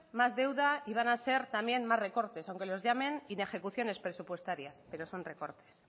más deuda y van a ser también más recortes aunque los llamen inejecuciones presupuestarias pero son recortes